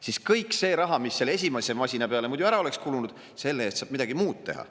Siis kogu selle raha eest, mis esimese masina peale muidu ära oleks kulunud, saab midagi muud teha.